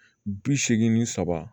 Bi seegin ni saba